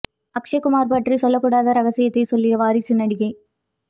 அக்ஷய் குமார் பற்றி சொல்லக் கூடாத ரகசியத்தை சொல்லிய வாரிசு நடிகை